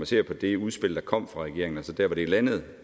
ser på det udspil der kom fra regeringen til der hvor det landede